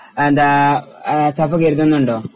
എന്താ ആഹ് സഫ കരുതുന്നുണ്ടോ?